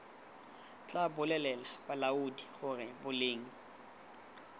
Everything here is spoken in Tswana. tla bolelela balaodi gore boleng